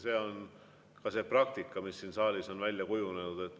See on see praktika, mis siin saalis on välja kujunenud.